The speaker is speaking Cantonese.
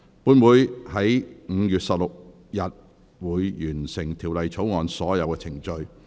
本會會在5月16日完成《條例草案》的所有程序。